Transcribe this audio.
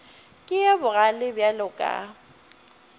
ke yo bogale bjalo ka